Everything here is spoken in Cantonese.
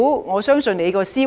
我相信，政府的思維......